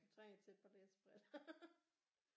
Du trænger til et par læsebriller